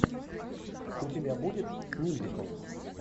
у тебя будет мюзикл